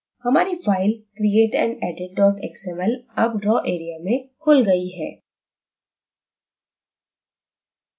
हमारी file create _ and _ edit xml अब draw area में खुल गई है